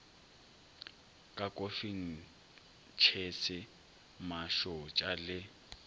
ka kofing tšhese mašotša le